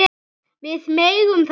Við megum það ekki.